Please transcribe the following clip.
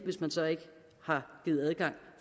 hvis man så ikke har givet adgang